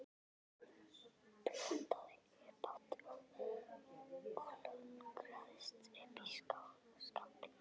Hann blótaði upphátt og klöngraðist upp í skafl.